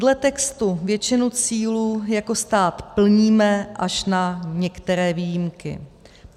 Dle textu většinu cílů jako stát plníme, až na některé výjimky.